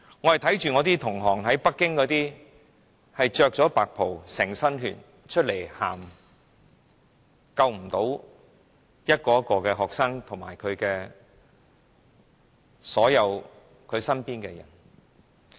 我看到一些北京的醫生穿着白袍、滿身是血從醫院走出來，哭訴救不到學生及他們身邊的所有人。